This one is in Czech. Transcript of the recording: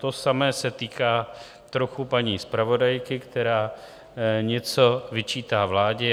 To samé se týká trochu paní zpravodajky, která něco vyčítá vládě.